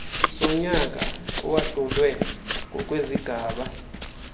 sonyaka eyahlulwe ngokwezigaba